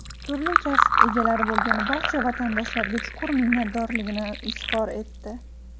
turli kasb egalari bo‘lgan barcha vatandoshlariga chuqur minnatdorligini izhor etdi.